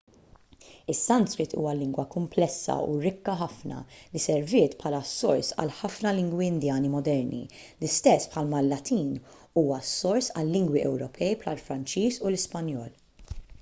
is-sanskrit huwa lingwa kumplessa u rikka ħafna li serviet bħala s-sors għal ħafna lingwi indjani moderni l-istess bħalma l-latin huwa s-sors għal-lingwi ewropej bħall-franċiż u l-ispanjol